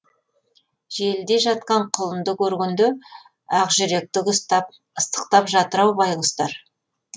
желіде жатқан құлынды көргенде ақжүректігі ұстап ыстықтап жатыр ау байғұстар